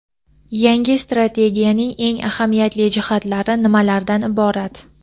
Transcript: Yangi strategiyaning eng ahamiyatli jihatlari nimalardan iborat?.